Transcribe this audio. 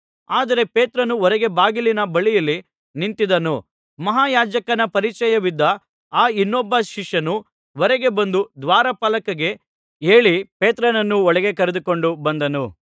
ಆದರೆ ಪೇತ್ರನು ಹೊರಗೆ ಬಾಗಿಲಿನ ಬಳಿಯಲ್ಲಿ ನಿಂತಿದ್ದನು ಮಹಾಯಾಜಕನ ಪರಿಚಯವಿದ್ದ ಆ ಇನ್ನೊಬ್ಬ ಶಿಷ್ಯನು ಹೊರಗೆ ಬಂದು ದ್ವಾರಪಾಲಕಿಗೆ ಹೇಳಿ ಪೇತ್ರನನ್ನು ಒಳಗೆ ಕರೆದುಕೊಂಡು ಬಂದನು